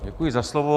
Děkuji za slovo.